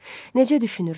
Necə düşünürsünüz?